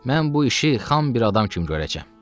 Mən bu işi xam bir adam kimi görəcəm.